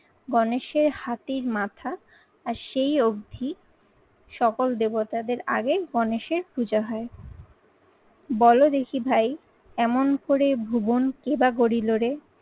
গণেশের হাতির মাথা আর সেই অবধি সকল দেবতাদের আগে গণেশের পূজা হয়। বলো দেখি ভাই এমন করে ভুবনকে বা গরিলো রে